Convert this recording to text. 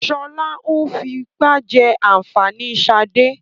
Sọlá ń fipá jẹ ànfàní ṣade.